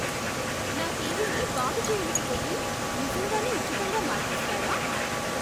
నా టీవీని బాగుచేయలేకపోతే నిజంగానే ఉచితంగా మార్చిస్తారా?